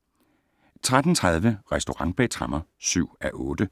13:30: Restaurant bag tremmer (7:8)*